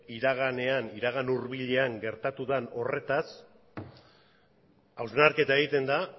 iragan hurbilean gertatu den horretaz hausnarketa egiten da